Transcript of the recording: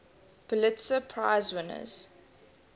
pulitzer prize winners